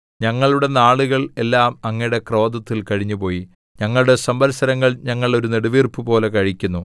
ഞങ്ങളുടെ നാളുകൾ എല്ലാം അങ്ങയുടെ ക്രോധത്തിൽ കഴിഞ്ഞുപോയി ഞങ്ങളുടെ സംവത്സരങ്ങൾ ഞങ്ങൾ ഒരു നെടുവീർപ്പുപോലെ കഴിക്കുന്നു